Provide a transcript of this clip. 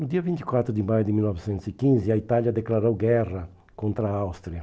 No dia vinte e quatro de maio de mil novecentos e quinze, a Itália declarou guerra contra a Áustria.